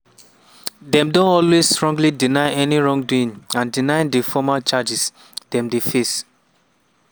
dem don always strongly deny any wrongdoing and deny di formal charges dem dey face.